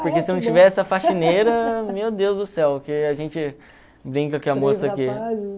Porque se não tivesse a faxineira, meu Deus do céu, porque a gente brinca que a moça que...